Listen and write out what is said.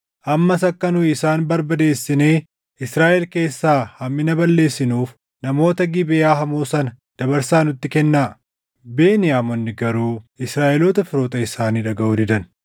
Ammas akka nu isaan barbadeessinee Israaʼel keessaa hammina balleessinuuf namoota Gibeʼaa hamoo sana dabarsaa nutti kennaa.” Beniyaamonni garuu Israaʼeloota firoota isaanii dhagaʼuu didan.